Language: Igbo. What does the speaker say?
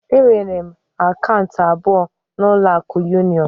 Enwere m akaụntụ abụọ na ụlọ akụ union